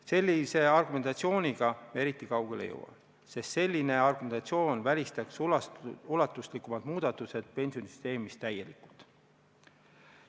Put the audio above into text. Sellise argumentatsiooniga eriti kaugele ei jõua, sest selline argumentatsioon välistab ulatuslikumad muudatused pensionisüsteemis täielikult.